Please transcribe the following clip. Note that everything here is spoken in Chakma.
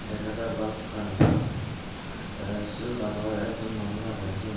dega jar bhalokkani sut the sut aro ek jon manuj age.